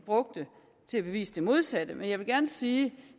brugte til at bevise det modsatte med jeg vil gerne sige at